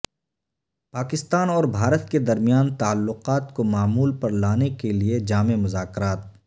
پاکستان اور بھارت کےدرمیان تعلقات کومعمول پرلانے کے لیے جامع مذا کرات